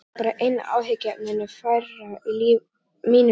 Það yrði þá bara einu áhyggjuefninu færra í mínu lífi.